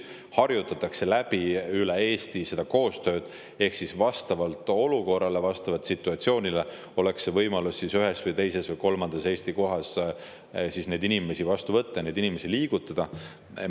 Seda koostööd harjutatakse üle Eesti, et vastavalt olukorrale, vastavalt situatsioonile oleks võimalus ühes või teises või kolmandas Eesti kohas neid inimesi vastu võtta, neid inimesi liigutada.